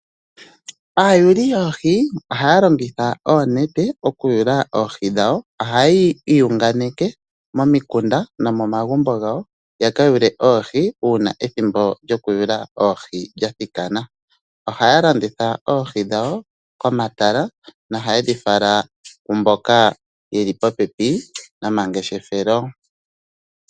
Aayuli yoohi ohalongitha oonete okuyula oohi dhawo ohayi yunganeke momikunda no momagumbo gawo yaka yule oohi uuna ethimbo lyoku yula oohi ndja thikana. Ohaya landitha oohi dhawo komatala no haye dhi vala kumboka yeli popepi nomangeshefelo.